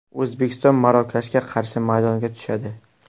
O‘zbekiston Marokashga qarshi maydonga tushadi.